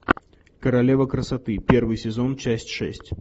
королева красоты первый сезон часть шесть